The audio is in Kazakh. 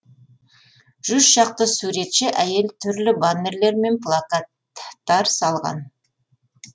жүз шақты суретші әйел түрлі баннерлер мен плакат тар салған